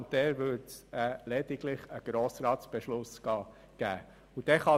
Dann würde es lediglich einen Beschluss des Grossen Rats geben.